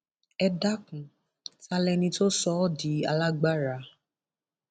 ẹ dákun ta lẹni tó sọ ọ di alágbára